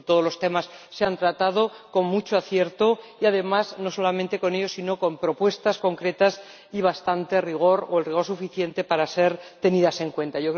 Es decir, todos los temas se han tratado con mucho acierto y, además, no solamente eso, sino también con propuestas concretas y bastante rigor, o el rigor suficiente para ser tenidas en cuenta.